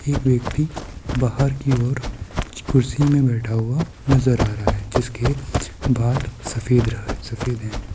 एक व्यक्ति बाहर की ओर कुर्सी में बैठा हुआ नजर आ रहा है जिसके बाल सफेद रह सफेद है।